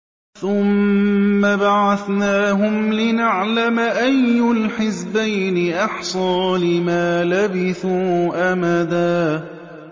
ثُمَّ بَعَثْنَاهُمْ لِنَعْلَمَ أَيُّ الْحِزْبَيْنِ أَحْصَىٰ لِمَا لَبِثُوا أَمَدًا